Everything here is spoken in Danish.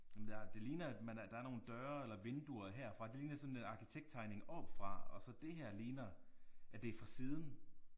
Jamen der det ligner at man er der er nogle døre eller vinduer herfra det ligner sådan en arkitekttegning oppefra og så det her ligner at det er fra siden